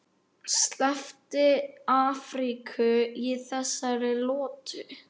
Sleppti Afríku í þessari lotu.